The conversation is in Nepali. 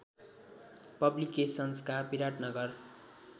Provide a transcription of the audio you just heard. पब्लिकेसन्सका विराटनगर